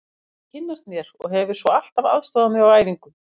Hann vildi kynnast mér og hefur svo alltaf aðstoðað mig á æfingum.